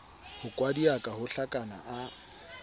ho kwadiaka ho hlakana a